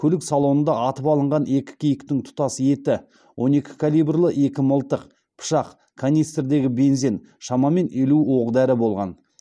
көлік салонында атып алынған екі киіктің тұтас еті он екі калибрлі екі мылтық пышақ канистрдегі бензин шамамен елу оқ дәрі болған